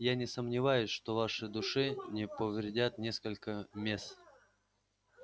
я не сомневаюсь что вашей душе не повредят несколько месс